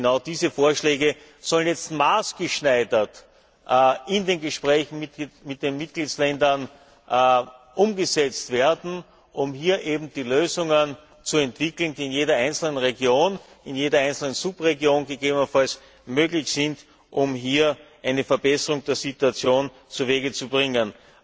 Genau diese Vorschläge sollen jetzt maßgeschneidert in den Gesprächen mit den Mitgliedstaaten umgesetzt werden, um hier die Lösungen zu entwickeln, die in jeder einzelnen Region, in jeder einzelnen Subregion gegebenenfalls möglich sind, um hier eine Verbesserung der Situation zu Wege zu bringen.